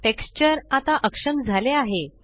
texture आता अक्षम झाले आहे